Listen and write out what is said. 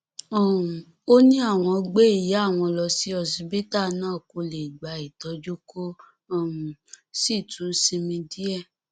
um ó ní àwọn gbé ìyá àwọn lọ sí òsíbitì náà kó lè gba ìtọjú kó um sì tún sinmi díẹ